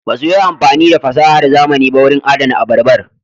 Ba su yi amfani da fasahar zamani ba wurin adana abarbar.